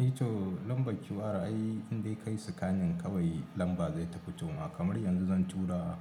Eh to lambar QR ai indai kayi scanning kawai lamba zai ta fito ma. Kamar yanzu zan tura